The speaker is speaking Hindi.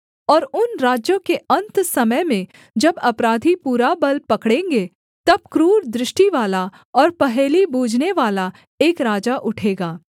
और उन राज्यों के अन्त समय में जब अपराधी पूरा बल पकड़ेंगे तब क्रूर दृष्टिवाला और पहेली बूझनेवाला एक राजा उठेगा